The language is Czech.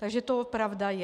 Takže to pravda je.